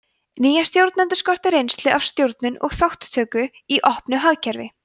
nýja stjórnendur skorti reynslu af stjórnun og þátttöku í opnu hagkerfi